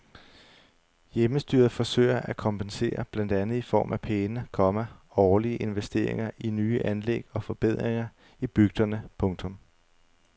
Hjemmestyret forsøger at kompensere blandt andet i form af pæne, komma årlige investeringer i nye anlæg og forbedringer i bygderne. punktum